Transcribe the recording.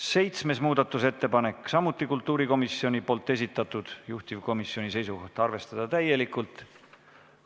Seitsmes muudatusettepanek on samuti kultuurikomisjoni esitatud, juhtivkomisjoni seisukoht on arvestada täielikult.